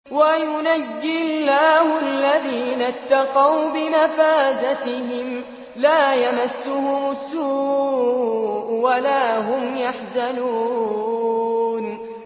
وَيُنَجِّي اللَّهُ الَّذِينَ اتَّقَوْا بِمَفَازَتِهِمْ لَا يَمَسُّهُمُ السُّوءُ وَلَا هُمْ يَحْزَنُونَ